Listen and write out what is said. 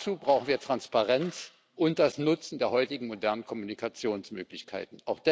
Dazu brauchen wir Transparenz und das Nutzen der heutigen modernen Kommunikationsmöglichkeiten.